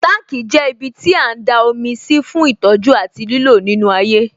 Tanki jẹ́ ibiti a ń da omi sí fún ìtọ́jú àti lílò nínú ayé